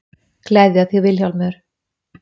Gleðja þig Vilhjálmur.